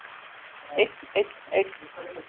Einn, einn, einn.